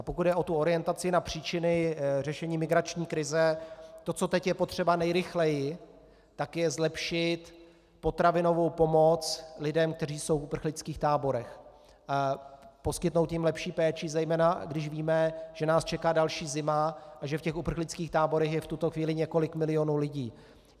A pokud jde o tu orientaci na příčiny řešení migrační krize, to, co teď je potřeba nejrychleji, tak je zlepšit potravinovou pomoc lidem, kteří jsou v uprchlických táborech, poskytnout jim lepší péči, zejména když víme, že nás čeká další zima a že v těch uprchlických táborech je v tuto chvíli několik milionů lidí.